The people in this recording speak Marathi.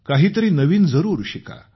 काहीतरी नवीन जरूर शिका